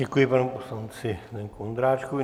Děkuji panu poslanci Zdeňku Ondráčkovi.